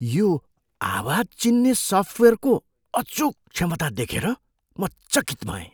यो आवाज चिन्ने सफ्टवेयरको अचूक क्षमता देखेर म चकित भएँ।